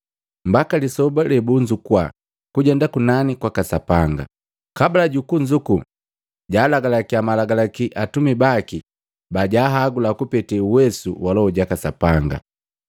mbaka lisoba lebunzukua kujenda kunani kwaka Sapanga, kabula jukunzuku jaalagalakiya malagalaki atumi baki bajaahagula kupete uwesu wa Loho jaka Sapanga.